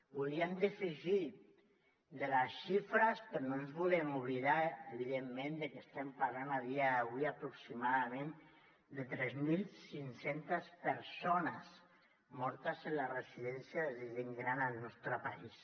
volíem defugir de les xifres però no ens volem oblidar evidentment que estem parlant a dia d’avui aproximadament de tres mil cinc cents persones mortes en les residències de gent gran al nostre país